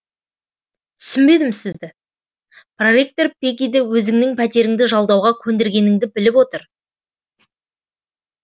түсінбедім сізді проректор пеггиді өзіңнің пәтеріңді жалдауға көндіргеніңді біліп отыр